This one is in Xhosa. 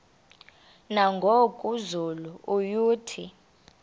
nangoku zulu uauthi